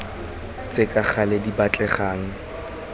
tse ka gale di batlegang